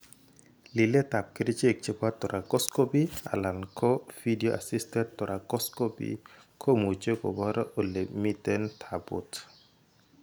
Liletap kerichek chepo thoracoscopy alan ko video assisted thoracoscopy Komuche kopor ole miten taput.